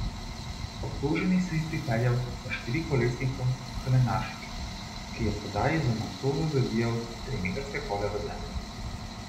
Obtoženi se je pripeljal s štirikolesnikom k Lenaršiču, ki je tedaj z macolo zabijal trimetrske kole v zemljo.